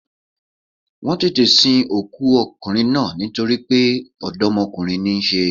Wọ́n tètè sin òkú okùnrin náà nítoripé dómokúnrin ní í se